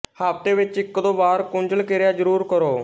ਹਫ਼ਤੇ ਵਿੱਚ ਇੱਕਦੋ ਵਾਰ ਕੁੰਜਲ ਕਿਰਿਆ ਜ਼ਰੂਰ ਕਰੋ